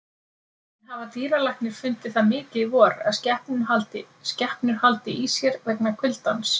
En hafa dýralæknar fundið það mikið í vor að skepnur haldi í sér vegna kuldans?